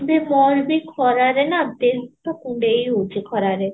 ଯେ ମୋର ବି ଖରା ରେ ନା ଦେହ ଟା କୁଣ୍ଡେଇ ହୋଉଛି ଖରା ରେ